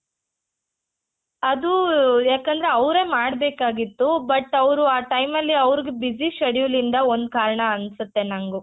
ಅದು ಯಾಕಂದ್ರೆ ಅವ್ರೇ ಮಾಡ್ಬೇಕಾಗಿತ್ತು but ಅವ್ರು ಆ time ಅಲ್ಲಿ ಅವ್ರಿಗೆ busy schedule ಇಂದ ಒಂದ್ ಕಾರಣ ಅನ್ಸುತ್ತೆ ನಂಗೂ